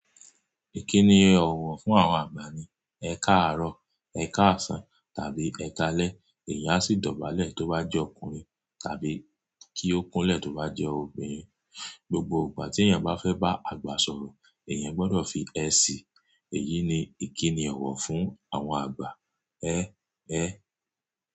Ìkíni ọ̀wọ̀ fún àwọn àgbà ni Ẹ káàárọ̀, Ẹ káàsán tàbí ẹ káalẹ́, èèyàn sì dọ̀bálẹ̀ tó bá jẹ́ ọkùnrin tàbí kí ó kúnlẹ̀ tó bá jẹ́ obìnrin. Gbogbo ìgbà tí èèyàn bá fẹ́ bá àgbà sọ̀rọ̀, èèyàn gbọdọ̀ fi ẹ síi. Èyí ni ìkíni ọ̀wọ̀ fún àwọn àgbà. Ẹ ẹ.